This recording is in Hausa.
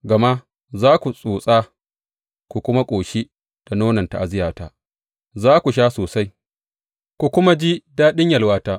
Gama za ku tsotsa ku kuma ƙoshi da nonon ta’aziyyarta; za ku sha sosai ku kuma ji daɗin yalwarta.